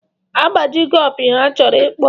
Agbaji go opi ha chọrọ ịkpọ.